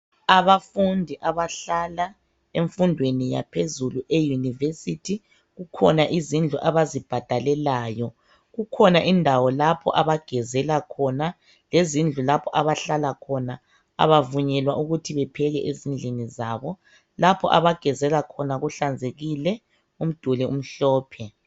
Abafundi abahlala emfundweni yaphezulu, euniversity. Kukhona izindlu abazibhadalelayo. Kukhona indawo lapho abagezela khona. Lezindlu lapho abahlala khona. Kabavunyelwa ukuba bapheke, ezindlini zabo. Lapho abagezela khona, kuhlanzekile. Umduli umhlophe.